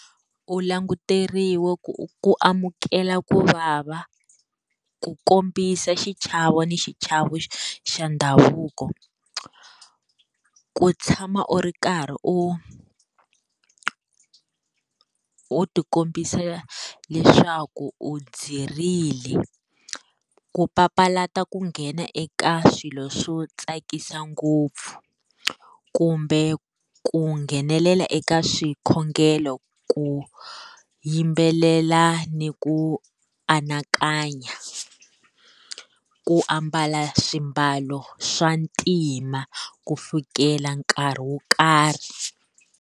U languteriwa ku ku amukela ku vava, ku kombisa xichavo ni xichavo xa ndhavuko, ku tshama u ri karhi u u ti kombisa leswaku u dzirile ku papalata ku nghena eka swilo swo tsakisa ngopfu kumbe ku nghenelela eka swikhongelo ku yimbelela ni ku anakanya, ku ambala swiambalo swa ntima ku fikela nkarhi wo karhi.